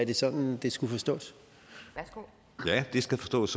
det sådan det skulle forstås skulle forstås